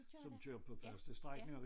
Som kører på faste strækninger